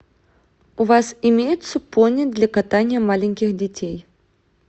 у вас имеются пони для катания маленьких детей